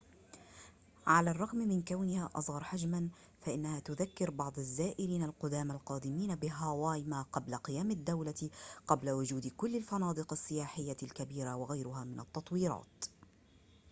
على الرغم من كونها أصغر حجماً فإنها تذكّر بعض الزائرين القدامى القادمين بهاواي ما قبل قيام الدولة قبل وجود كل الفنادق السياحية الكبيرة وغيرها من التطويرات